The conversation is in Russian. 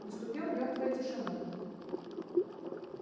наступила мёртвая тишина